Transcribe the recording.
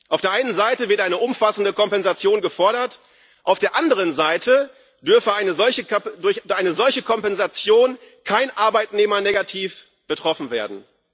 Auf der einen Seite wird eine umfassende Kompensation gefordert, auf der anderen Seite dürfe durch eine solche Kompensation kein Arbeitnehmer negativ betroffen werden.